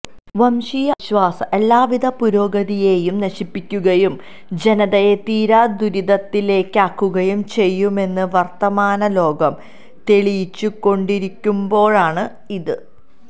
വംശീയ അവിശ്വാസം എല്ലാവിധ പുരോഗതിയെയും നശിപ്പിക്കുകയും ജനതയെ തീരാ ദുരിതത്തിലാക്കുകയും ചെയ്യുമെന്ന് വർത്തമാന ലോകം തെളിയിച്ചു കൊണ്ടേയിരിക്കുമ്പോഴാണ് ഇത്